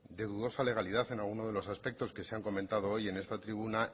de dudosa legalidad en alguno de los aspectos que se han comentado hoy en esta tribuna